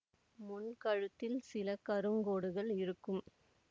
முன் கழுத்தில் சில கருங்கோடுகள் இருக்கும்